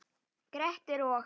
Grettir og